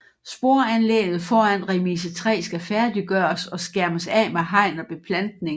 Sporanlægget foran Remise 3 skal færdiggøres og skærmes af med hegn og beplantning